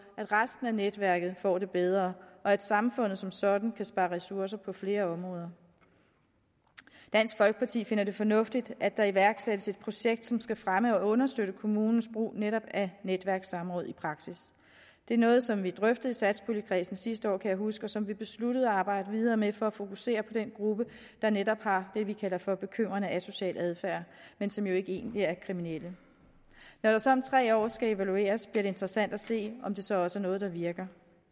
at resten af netværket får det bedre og at samfundet som sådan kan spare ressourcer på flere områder dansk folkeparti finder det fornuftigt at der iværksættes et projekt som skal fremme og understøtte kommunens brug af netop netværkssamråd i praksis det er noget som vi drøftede i satspuljekredsen sidste år kan jeg huske og som vi besluttede at arbejde videre med for at fokusere på den gruppe der netop har det vi kalder for bekymrende asocial adfærd men som jo egentlig ikke er kriminelle når der så om tre år skal evalueres bliver det interessant at se om det så også er noget der virker